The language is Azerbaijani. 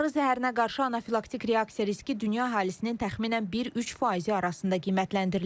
Arı zəhərinə qarşı anafilaktik reaksiya riski dünya əhalisinin təxminən 1-3 faizi arasında qiymətləndirilir.